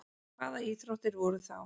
Hvaða íþróttir voru þá?